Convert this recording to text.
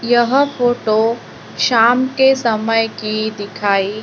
यह फोटो शाम के समय की दिखाई--